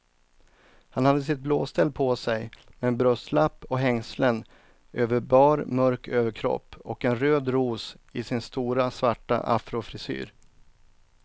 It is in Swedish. Han hade sitt blåställ på sig, med bröstlapp och hängslen över bar mörk överkropp och en röd ros i sin stora svarta afrofrisyr.